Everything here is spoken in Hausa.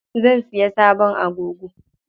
Zan siya sabon agogo.